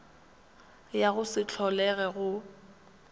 ya go se holege go